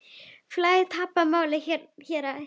Félagið tapaði málinu í héraði.